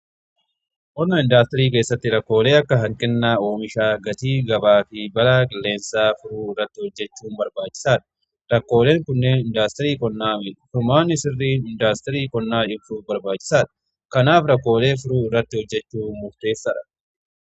Qonna indaastirii keessatti rakkoolee akka hanqina oomishaa gatii gabaa fi balaa qilleensaa furuu irratti hojjechuu barbaachisaadha. Rakkooleen kunneen indaastirii qonnaa furmaani sirrii indaastirii qonnaa irbuu barbaachisaadha. Kanaaf rakkoolee furuu irratti hojjechuu murteessaadha.